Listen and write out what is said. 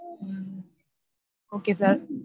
okay sir.